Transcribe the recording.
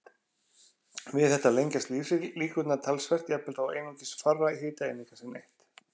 Við þetta lengjast lífslíkurnar talsvert, jafnvel þó einungis fárra hitaeininga sé neytt.